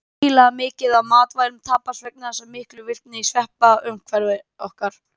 Gríðarlega mikið af matvælum tapast vegna þessara miklu virkni sveppa í umhverfi okkar.